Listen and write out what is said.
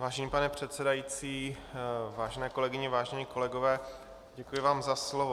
Vážený pane předsedající, vážené kolegyně, vážení kolegové, děkuji vám za slovo.